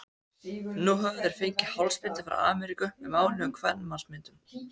Nú höfðu þeir fengið hálsbindi frá Ameríku með máluðum kvenmannsmyndum.